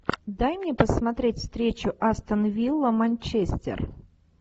дай мне посмотреть встречу астон вилла манчестер